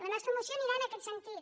la nostra moció anirà en aquest sentit